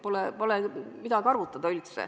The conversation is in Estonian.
Pole üldse midagi arutada.